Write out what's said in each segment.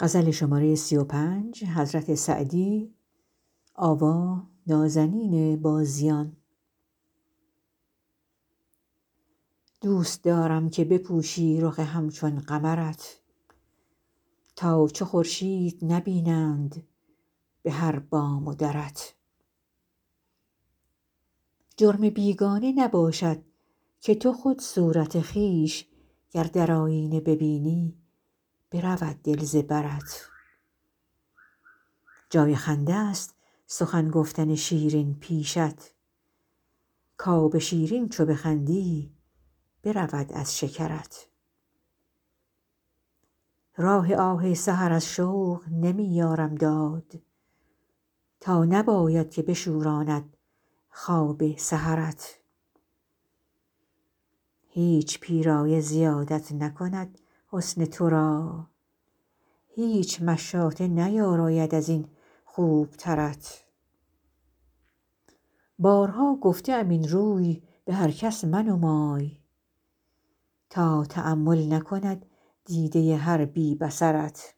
دوست دارم که بپوشی رخ همچون قمرت تا چو خورشید نبینند به هر بام و درت جرم بیگانه نباشد که تو خود صورت خویش گر در آیینه ببینی برود دل ز برت جای خنده ست سخن گفتن شیرین پیشت کآب شیرین چو بخندی برود از شکرت راه آه سحر از شوق نمی یارم داد تا نباید که بشوراند خواب سحرت هیچ پیرایه زیادت نکند حسن تو را هیچ مشاطه نیاراید از این خوبترت بارها گفته ام این روی به هر کس منمای تا تأمل نکند دیده هر بی بصرت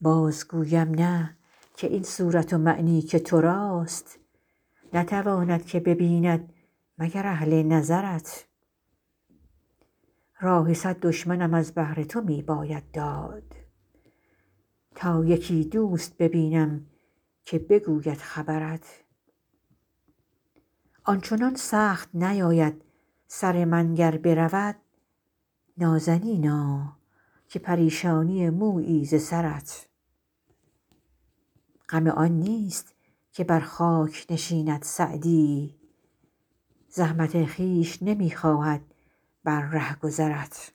باز گویم نه که این صورت و معنی که تو راست نتواند که ببیند مگر اهل نظرت راه صد دشمنم از بهر تو می باید داد تا یکی دوست ببینم که بگوید خبرت آن چنان سخت نیاید سر من گر برود نازنینا که پریشانی مویی ز سرت غم آن نیست که بر خاک نشیند سعدی زحمت خویش نمی خواهد بر رهگذرت